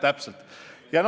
Täpselt!